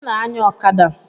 Onye na-anya ọkada?